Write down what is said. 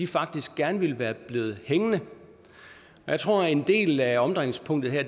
faktisk gerne ville være blevet hængende jeg tror at en del af omdrejningspunktet her